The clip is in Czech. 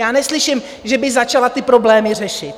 Já neslyším, že by začala ty problémy řešit.